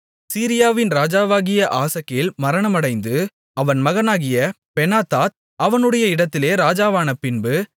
சீரியாவின் ராஜாவாகிய ஆசகேல் மரணமடைந்து அவன் மகனாகிய பெனாதாத் அவனுடைய இடத்திலே ராஜாவான பின்பு